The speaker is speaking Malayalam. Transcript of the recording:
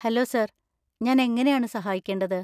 Hello, sir. ഞാൻ എങ്ങനെയാണ് സഹായിക്കേണ്ടത്?